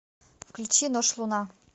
включи нож луна